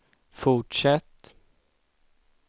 fortsätt